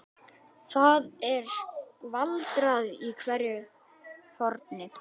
Það er skvaldrað í hverju horni.